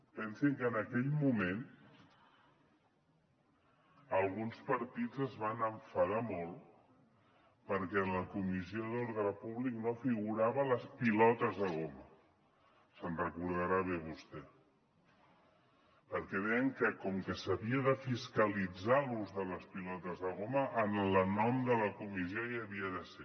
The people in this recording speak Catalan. pensi que en aquell moment alguns partits es van enfadar molt perquè en la comissió d’ordre públic no figuraven les pilotes de goma se’n recordarà bé vostè perquè deien que com que s’havia de fiscalitzar l’ús de les pilotes de goma en el nom de la comissió hi havien de ser